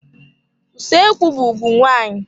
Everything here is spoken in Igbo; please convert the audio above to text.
Usoekwu be ùgwù nwaanyị.